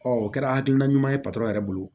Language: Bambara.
o kɛra hakilina ɲuman ye yɛrɛ bolo